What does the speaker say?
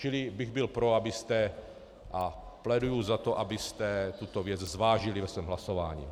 Čili byl bych pro, abyste, a pléduji za to, abyste tuto věc zvážili ve svém hlasování.